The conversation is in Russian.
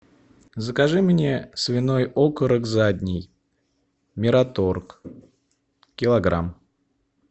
закажи мне свиной окорок задний мираторг килограмм